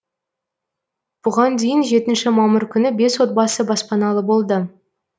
бұған дейін жетінші мамыр күні бес отбасы баспаналы болды